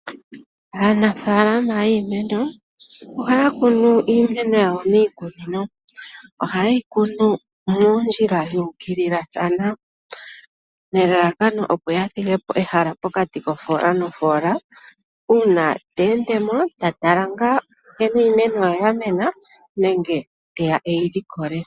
Aanafaalama yiimeno, ohaya kunu iimeno yawo miikunino. Oha ye yi kunu moondjila dhuukililathana nelalakano opo ya thigepo ehala pokati kofola nofola uuna teendemo, tatala ngaa nkene iimeno ye ya mena nenge teya eyi likole.